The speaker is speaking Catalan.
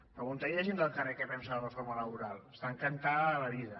pregunta ho a la gent del carrer què pensa de la reforma laboral n’està encantada de la vida